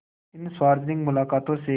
इन सार्वजनिक मुलाक़ातों से